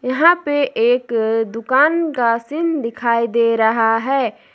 यहां पे एक दुकान का सीन दिखाई दे रहा है।